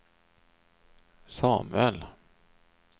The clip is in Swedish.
Samuel